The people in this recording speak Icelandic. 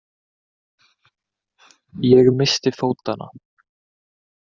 Ég missti fótanna.